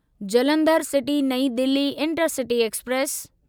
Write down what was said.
Jalandhar city Nai Delhi intercity express